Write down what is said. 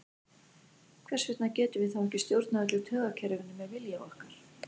Hvers vegna getum við þá ekki stjórnað öllu taugakerfinu með vilja okkar?